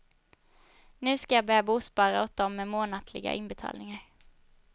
Nu ska jag börja bospara åt dem med månatliga inbetalningar.